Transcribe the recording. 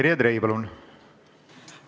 Terje Trei, palun!